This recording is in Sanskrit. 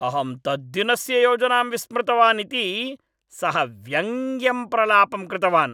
अहं तद्दिनस्य योजनां विस्मृतवान् इति सः व्यङ्ग्यं प्रलापं कृतवान्।